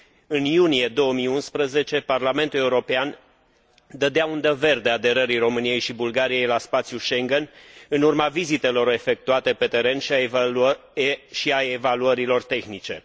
În iunie 2011, Parlamentul European dădea undă verde aderării României și Bulgariei la spațiul Schengen, în urma vizitelor efectuate pe teren și a evaluărilor tehnice.